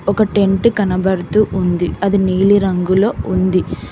ఒక టెంట్ కనబడుతూ ఉంది అది నీలిరంగులో ఉంది.